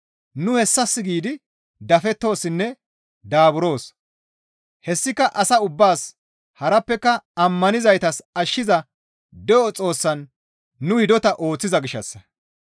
Nu hessas giidi dafettoossinne daaburoos; hessika asa ubbaas harappeka ammanizaytas ashshiza de7o Xoossaan nu hidota ooththiza gishshassa.